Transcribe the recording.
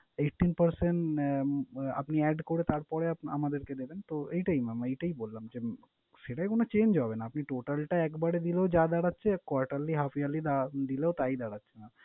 eighteen percent আহ আপনি add করে তারপরে আমাদেরকে দেবেন। তো এইটাই mam এইটাই বললাম যে, সেটায় কোন change হবে না। আপনি total টা একবারে দিলেও যা দাঁড়াচ্ছে, quarterly, half yearly দিলেও তাই দাঁড়াচ্ছে।